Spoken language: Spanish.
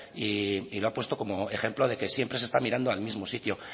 y lo ha puesto como ejemplo de que siempre se está mirando al mismo sitio